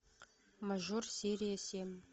мажор серия семь